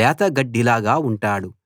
లేత గడ్డిలాగా ఉంటాడు